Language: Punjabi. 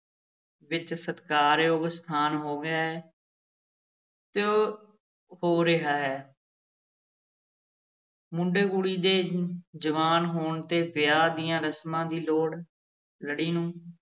ਵਿੱਚ ਸਤਿਕਾਰਯੋਗ ਸਥਾਨ ਹੋ ਗਿਆ ਹੈ ਤੇ ਉਹ ਹੋ ਰਿਹਾ ਹੈ ਮੁੰਡੇ-ਕੁੜੀ ਦੇ ਜਵਾਨ ਹੋਣ ਤੇ ਵਿਆਹ ਦੀਆਂ ਰਸਮਾਂ ਦੀ ਲੋੜ ਲੜੀ ਨੂੰ